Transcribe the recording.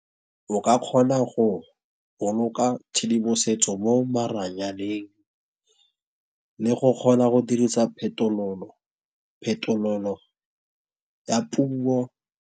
O ka kgona go boloka tshedimosetso mo maranyaneng le go kgona go dirisa phetololo ya puo.